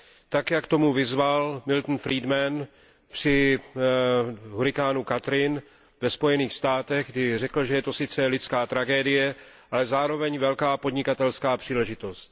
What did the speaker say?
Tak, jak k tomu vyzval Milton Friedman při hurikánu Katrina ve Spojených státech, kdy řekl, že je to sice lidská tragédie, ale zároveň velká podnikatelská příležitost.